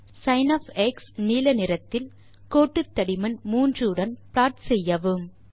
சின் நீல நிறத்தில் கோட்டுத்தடிமன் 3 உடன் ப்ளாட் செய்யவும்